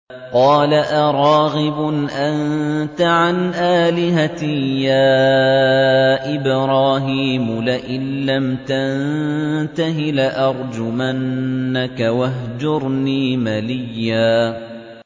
قَالَ أَرَاغِبٌ أَنتَ عَنْ آلِهَتِي يَا إِبْرَاهِيمُ ۖ لَئِن لَّمْ تَنتَهِ لَأَرْجُمَنَّكَ ۖ وَاهْجُرْنِي مَلِيًّا